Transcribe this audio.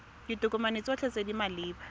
ditokomane tsotlhe tse di maleba